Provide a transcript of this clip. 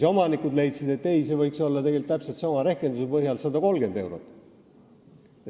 Omanikud aga leidsid, et see võiks olla täpselt sama rehkenduse põhjal 130 eurot.